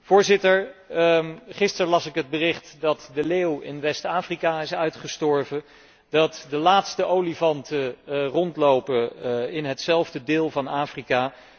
Voorzitter, gisteren las ik het bericht dat de leeuw in West Afrika is uitgestorven, dat de laatste olifanten rondlopen in hetzelfde deel van Afrika.